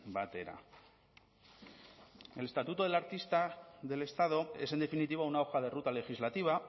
batera el estatuto del artista del estado es en definitiva una hoja de ruta legislativa